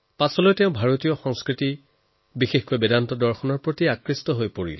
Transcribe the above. পাছত ভাৰতীয় সংস্কৃতি বিশেষকৈ বেদবেদান্তৰ প্ৰতি আকৃষ্ট হয়